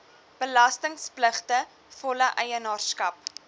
belastingpligtige volle eienaarskap